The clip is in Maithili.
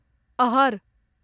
अहर